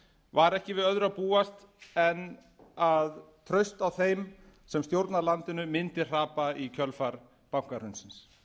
var ekki við öðru að búast en að traust á þeim sem stjórna landinu mundi hrapa í kjölfar bankahrunsins